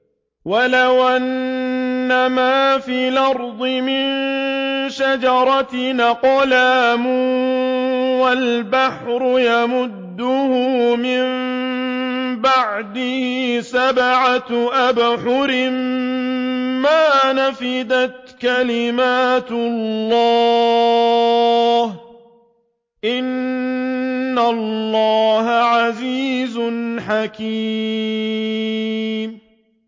وَلَوْ أَنَّمَا فِي الْأَرْضِ مِن شَجَرَةٍ أَقْلَامٌ وَالْبَحْرُ يَمُدُّهُ مِن بَعْدِهِ سَبْعَةُ أَبْحُرٍ مَّا نَفِدَتْ كَلِمَاتُ اللَّهِ ۗ إِنَّ اللَّهَ عَزِيزٌ حَكِيمٌ